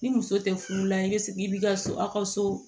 Ni muso tɛ furu la i bɛ sigi i b'i ka so a ka so